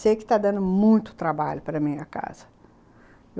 Sei que está dando muito trabalho para minha casa.